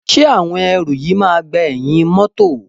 Ṣé àwọn ẹrù yìí máa gba ẹ̀yìn mọ́tọ̀.